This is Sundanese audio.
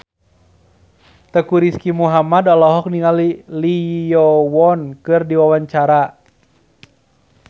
Teuku Rizky Muhammad olohok ningali Lee Yo Won keur diwawancara